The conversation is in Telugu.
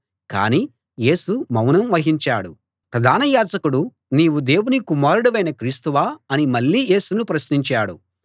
కాని యేసు మౌనం వహించాడు ప్రధాన యాజకుడు నీవు దేవుని కుమారుడివైన క్రీస్తువా అని మళ్ళీ యేసును ప్రశ్నించాడు